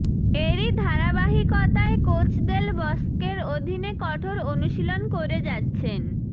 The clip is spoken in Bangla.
এরই ধারাবাহিকতায় কোচ দেল বস্কের অধীনে কঠোর অনুশীলন করে যাচ্ছেন